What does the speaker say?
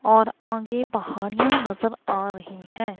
और आगे पहाड़िया नजर आ रही है।